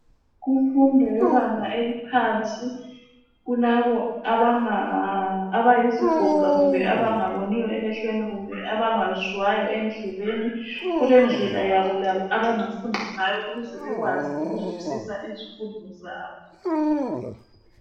Kumfundo yebanga eliphansi, kulabo abanga...abayizigoga kumbe abangaboniyo emehlweni, kumbe abangezwayo endlebeni, Kulendlela yabo labo abangafunda ngayo, ukuze bazwisise izifundo zabo.